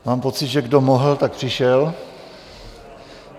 Mám pocit, že kdo mohl, tak přišel.